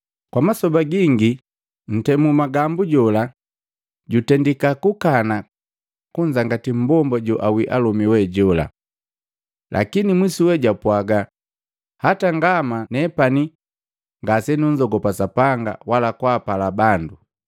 Kwa masoba gingi ntemu magambu jola, jutendika kukana kunzangati mmbomba joawii alomi we jola. Lakini mwisuwe japwaga, ‘Hata ngama nepane ngasenunzogopa Sapanga wala kwaapala bandu,